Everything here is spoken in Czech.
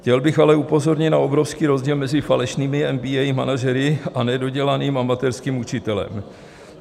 Chtěl bych ale upozornit na obrovský rozdíl mezi falešnými MBA manažery a nedodělaným amatérským učitelem.